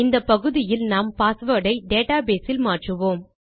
இந்த பகுதியில் நாம் பாஸ்வேர்ட் ஐ டேட்டாபேஸ் இல் மாற்றுவோம்